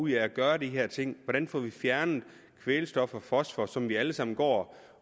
ud af at gøre de her ting hvordan får vi fjernet kvælstof og fosfor som vi alle sammen går